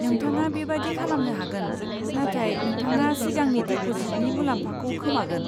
नोंथाङा बेबादि खालामनो हागोन, नाथाय नोंथाङा सिगांनि डिप'जिटनि मुलाम्फाखौ खोमागोन।